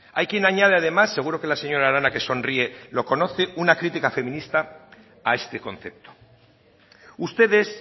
hay quien añade además seguro que la señora arana que sonríe lo conoce una crítica feminista a este concepto ustedes